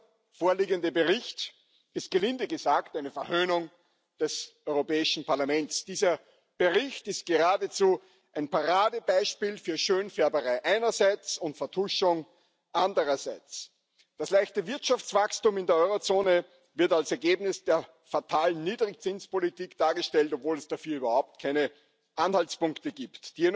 Der vorliegende Bericht ist gelinde gesagt eine Verhöhnung des Europäischen Parlaments. Dieser Bericht ist geradezu ein Paradebeispiel für Schönfärberei einerseits und Vertuschung andererseits. Das leichte Wirtschaftswachstum in der Eurozone wird als Ergebnis der fatalen Niedrigzinspolitik dargestellt, obwohl es dafür überhaupt keine Anhaltspunkte gibt.